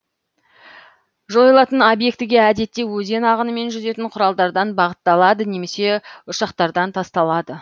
жойылатын объектіге әдетте өзен ағынымен жүзетін құралдардан бағытталады да немесе ұшақтардан тасталады